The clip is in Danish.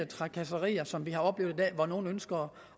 trakasserier som vi har oplevet i dag hvor nogle ønsker